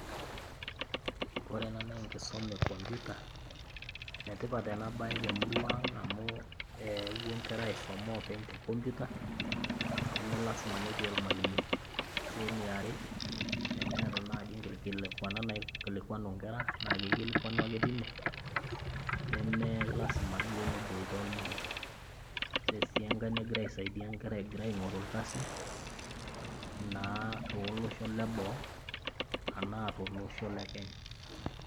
Korena naaenkisoma e kompyuta. Enetipat ena baye temurua ang' amu ee epuo nkera aisoma oopeny tekompyuta nemelasima netii olmalimui. Ore sii eneare, eneata naji inkikilikuanat naikilikianu nkera nake eikilikuanu ake tine nemelasima duo neboita olmalimui. Ore sii engai negira aisaidia nkera egira aing'oru ilkasin naa tooloshon le boo anaa tolosho le kenya.